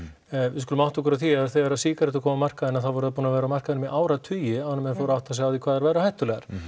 við skulum átta okkur á því að þegar sígarettur komu á markaðinn þá voru þær búnar að vera á markaðnum í áratugi áður en menn fóru að átta sig á því hvað þær væru hættulegar